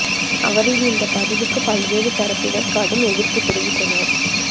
அவரின் இந்த பதிவுக்கு பல்வேறு தரப்பினர் கடும் எதிர்ப்பு தெரிவித்தனர்